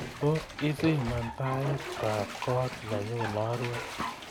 Tos isiman taitab koot nenyu narue